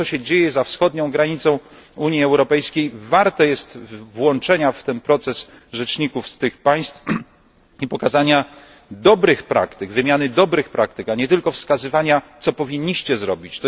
To, co się dzieje za wschodnią granicą Unii Europejskiej, warte jest włączenia w ten proces rzeczników z tych państw i pokazania dobrych praktyk oraz ich wymiany, a nie tylko wskazywania, co powinniście zrobić.